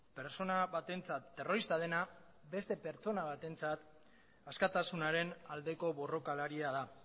pertsona batentzat terrorista dena beste pertsona batentzat askatasunaren aldeko borrokalaria da